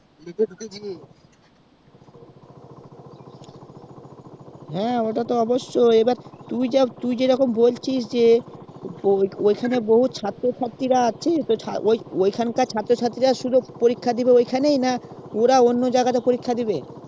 হ্যাঁ ওটা তো অবশ্যয় এবার তুই যেরকম বলছিস যে ওখানে বহুত ছাত্র ছাত্রী আছে তো ঐখান কার ছাত্র ছাত্রী রা ওখানেই পরীক্ষা দিবে না ওরা অন্য জায়গায় পরীক্ষা দেবে